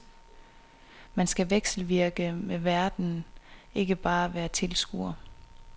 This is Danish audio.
Man skal vekselvirke med verden, ikke bare være tilskuer.